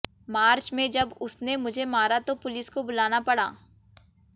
मार्च में जब उसने मुझे मारा तो पुलिस को बुलाना पड़ा